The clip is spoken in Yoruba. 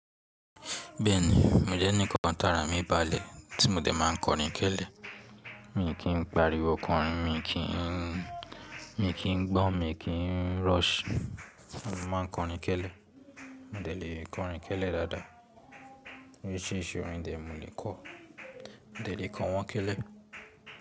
Bẹ́ẹ̀ni, mo jẹ́ ẹni kan tààrà mi bá le tí mo dẹ̀ máa ń kọrin kẹ́lẹ́. Mi kì n pàríwọ konrin, mi kì í, mi kì í gbọ́n, mi kì n rush, mo máa ń kọrin kẹ́lẹ́. Mo dẹ̀ lè kọrin kẹ́lẹ́ dáadáa. Oríṣiríṣi orin dẹ̀ mo lè kọ. Mo dẹ̀ lè kọ wọ́n kẹ́lẹ́